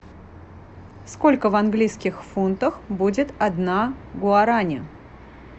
сколько в английских фунтах будет одна гуарани